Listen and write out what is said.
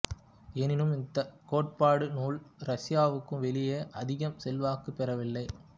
எனினும் இந்தக் கோட்பாட்டு நூல் ரசியாவுக்கு வெளியே அதிகம் செல்வாக்குப் பெறவில்லை